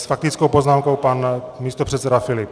S faktickou poznámkou pan místopředseda Filip.